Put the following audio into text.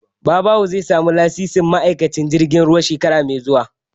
Babawo zai samu lasisin ma'aikancin jirgin ruwa shekara mai zuwa